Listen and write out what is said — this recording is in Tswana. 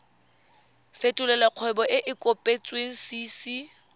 fetolela kgwebo e e kopetswengcc